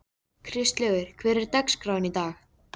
Kristlaugur, hvernig er dagskráin í dag?